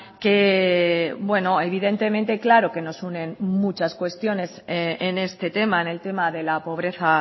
que bueno evidentemente claro que nos unen muchas cuestiones en este tema en el tema de la pobreza